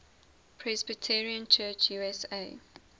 presbyterian church usa